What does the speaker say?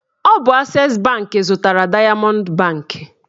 Ọ bụ ases banki zụtara dayamọnd banki